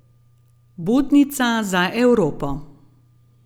Budnica za Evropo.